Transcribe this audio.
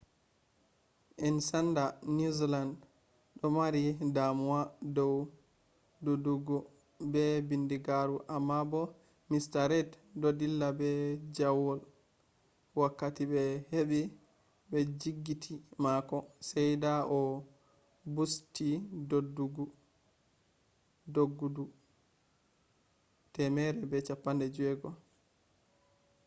en sanda new zealand du mari damuwa dou dodgodu be bindigaru amma bo mr reid do dilla be jawaul wakkati be hebi be jotgiti mako sai dah o bussti doddgodu 16okm/h